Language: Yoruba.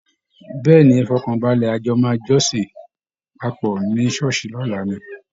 Bẹ́ẹ̀ ni, ẹ fọkan balẹ̀, ajò máa jọ́sìn papọ̀ ní ṣọ́ọ̀ṣì lọ́la ni